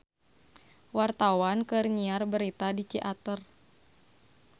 Wartawan keur nyiar berita di Ciater